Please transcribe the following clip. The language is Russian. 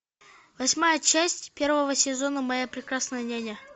восьмая часть первого сезона моя прекрасная няня